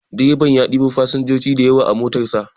Direban ya ɗebo fasinjoji dayawa a motar sa.